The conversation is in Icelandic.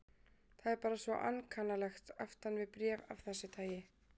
Það er bara svo ankannalegt aftan við bréf af þessu tagi.